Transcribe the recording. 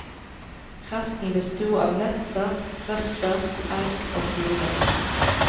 Resten besto av nøtter, røtter, egg og fugler.